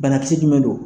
Banakisɛ jumɛn don